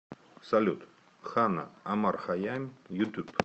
салют ханна омар хайям ютуб